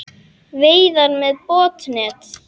Veiðar með botnnet